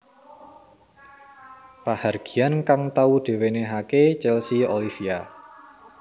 Pahargyan kang tau diwenehake Chelsea Olivia